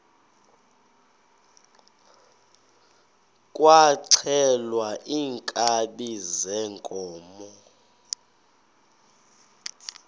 kwaxhelwa iinkabi zeenkomo